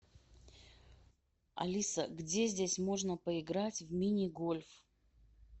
алиса где здесь можно поиграть в мини гольф